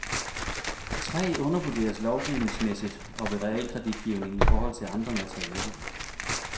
Træ undervurderes lovgivningsmæssigt og ved realkreditgivning i forhold til andre materialer.